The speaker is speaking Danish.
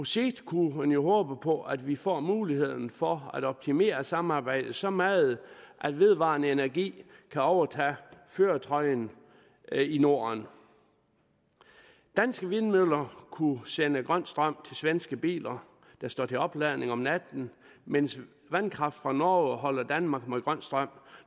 sigt kunne man jo håbe på at vi får muligheden for at optimere samarbejdet så meget at vedvarende energi kan overtage førertrøjen i norden danske vindmøller kunne sende grøn strøm til svenske biler der står til opladning om natten mens vandkraft fra norge kunne holde danmark med grøn strøm